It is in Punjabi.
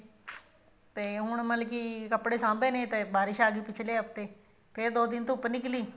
ਤੇ ਹੁਣ ਮਤਲਬ ਕਿ ਕੱਪੜੇ ਸਾਂਭੇ ਨੇ ਤੇ ਬਾਰਿਸ਼ ਆਗੀ ਪਿੱਛਲੇ ਹਫਤੇ ਤੇ ਦੋ ਦਿਨ ਧੁੱਪ ਨਿਕਲੀ